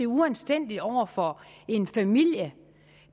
uanstændigt over for en familie